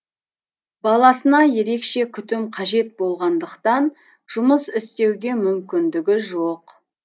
баласына ерекше күтім қажет болғандықтан жұмыс істеуге мүмкіндігі жоқ